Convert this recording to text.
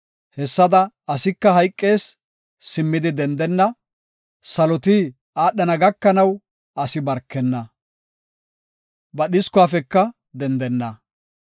hessada asika hayqees; simmidi dendenna; saloti aadhana gakanaw asi baarkenna; ba dhiskuwafeka dendenna.